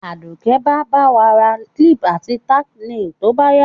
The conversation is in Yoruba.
Àdùké ba ba wa ra clip àti tack nails to báyá